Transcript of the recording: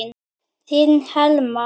Þín Helma.